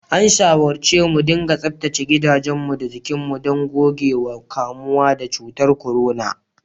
An shawarce mudiga tsaftace gidajenmu da jikinmu don guje wa kamuwa da cutar corona.